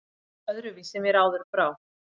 Öðruvísi mér áður brá.